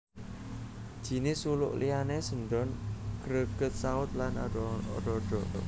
Jinis suluk liyane sendhon gregetsaut lan ada ada